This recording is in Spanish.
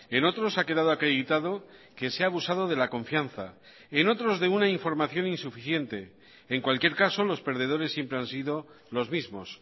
en otros ha quedado acreditado que se ha abusado de la confianza en otros de una información insuficiente en cualquier caso los perdedores siempre han sido los mismos